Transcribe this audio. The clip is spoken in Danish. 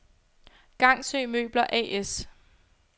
Gangsø Møbler A/S